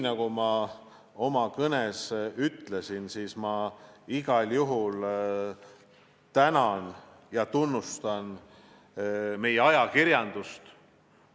Nagu ma oma kõnes ütlesin, ma igal juhul tänan ja tunnustan meie ajakirjandust.